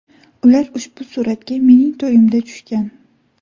Ular ushbu suratga mening to‘yimda tushgan.